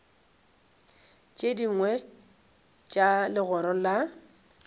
tše dingwe tša legoro la